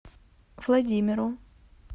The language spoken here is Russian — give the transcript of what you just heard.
владимиру